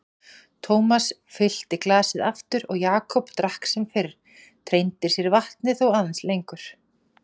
Thomas fyllti glasið aftur og Jakob drakk sem fyrr, treindi sér vatnið þó aðeins lengur.